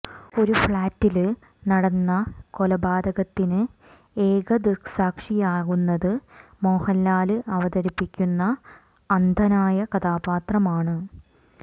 ഒരു ഫ്ളാറ്റില് നടന്ന കൊലപാതകത്തിന് ഏക ദൃക്സാക്ഷിയാകുന്നത് മോഹന്ലാല് അവതരിപ്പിക്കുന്ന അന്ധനായ കഥാപാത്രമാണ്